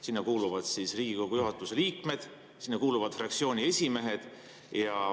Sinna kuuluvad Riigikogu juhatuse liikmed, sinna kuuluvad fraktsiooniesimehed.